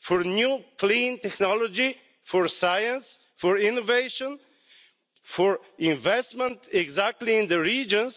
for a new clean technology, for science, for innovation, for investment in precisely the regions